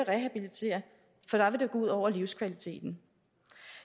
ud over livskvaliteten